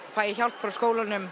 fæ ég hjálp frá skólanum